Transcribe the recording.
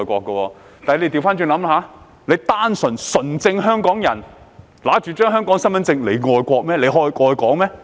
反過來想想，即使是純正香港人持有香港身份證，但他們愛國、愛港嗎？